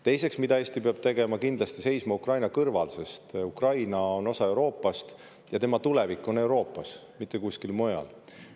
Teiseks, mida Eesti peab tegema: kindlasti seisma Ukraina kõrval, sest Ukraina on osa Euroopast ja tema tulevik on Euroopas, mitte kuskil mujal.